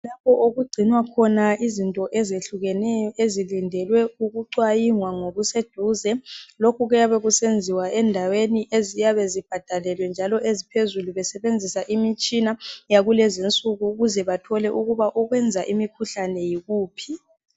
Lapho okugcinwa khona izinto ezehlukeneyo ezilindelwe ukuxwayingwa ngokuseduze . Lokhu kuyabe kusenziwa endaweni eziyabe zibhadalelwe njalo esiphezulu besebenzisa imitshina yakulezinsuku ukuze bathole ukuba okwenza imikhuhlane yikuphi .